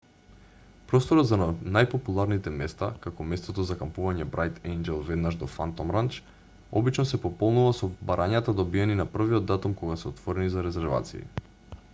просторот за најпопуларните места како местото за кампување брајт ејнџел веднаш до фантом ранч обично се пополнува со барањата добиени на првиот датум кога се отворени за резервации